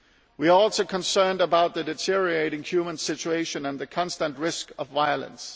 We are also concerned about the deteriorating human situation and the constant risk of violence.